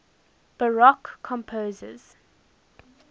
baroque composers